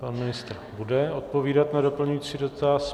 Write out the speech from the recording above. Pan ministr bude odpovídat na doplňující dotaz.